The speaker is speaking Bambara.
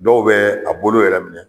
Dɔw bɛɛ a bolo yɛrɛ minɛ